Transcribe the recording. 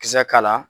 Kisɛ k'a la